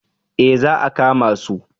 Eh za a kama su?